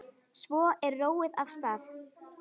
Svo er róið af stað.